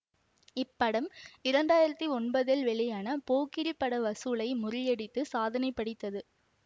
இப்படம் இரண்டு ஆயிரத்தி ஒன்பதில் வெளியான போக்கிரி பட வசூலை முறியடித்து சாதனை படைத்தது